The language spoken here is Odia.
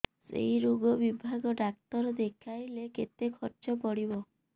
ସେଇ ରୋଗ ବିଭାଗ ଡ଼ାକ୍ତର ଦେଖେଇଲେ କେତେ ଖର୍ଚ୍ଚ ପଡିବ